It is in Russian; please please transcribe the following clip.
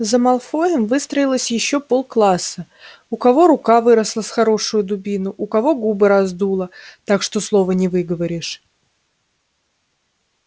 за малфоем выстроилось ещё полкласса у кого рука выросла с хорошую дубину у кого губы раздуло так что слова не выговоришь